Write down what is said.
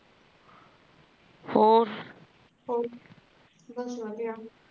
ਹੋਰ ਬਸ ਵਧੀਆ